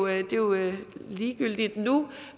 er jo ligegyldigt nu